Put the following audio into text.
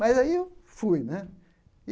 Mas aí eu fui né.